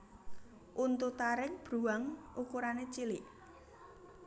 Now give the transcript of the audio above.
Untu taring bruwang ukurané cilik